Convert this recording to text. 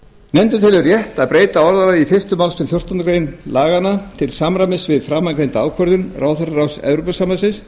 nefndin telur rétt að breyta orðalagi í fyrstu málsgrein fjórtándu greinar laganna til samræmis við framangreinda ákvörðun ráðherraráðs evrópusambandsins